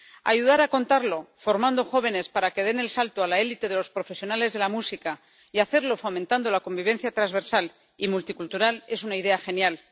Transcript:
Ayudar a contarla formando jóvenes para que den el salto a la élite de los profesionales de la música y hacerlo fomentando la convivencia transversal y multicultural es una idea genial.